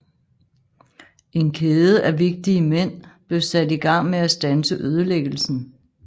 En kæde af vigtige mænd blev sat i gang med at standse ødelæggelsen